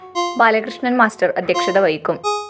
ബാലകൃഷ്ണന്‍ master അധ്യക്ഷത വഹിക്കും